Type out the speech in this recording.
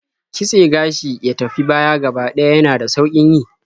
Kitse gashi ya tafi baya gaba ɗaya yana da sauƙin yi.